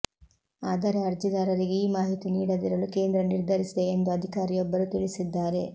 ಆದರೆ ಅರ್ಜಿದಾರರಿಗೆ ಈ ಮಾಹಿತಿ ನೀಡದಿರಲು ಕೇಂದ್ರ ನಿರ್ಧರಿಸಿದೆ ಎಂದು ಅಧಿಕಾರಿಯೊಬ್ಬರು ತಿಳಿಸಿದ್ದಾರೆ